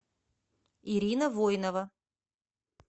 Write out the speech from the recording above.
ирина войнова